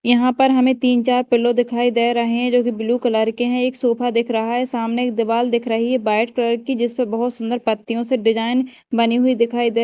यहां पर हमें तीन चार पिलो दिखाई दे रहे हैं जो की ब्लू कलर के हैं एक सोफा देख रहा है सामने एक दीवाल दिख रही है व्हाइट कलर की जिस पर बहोत सुंदर पत्तियों से डिजाइन बनी हुई दिखाई दे--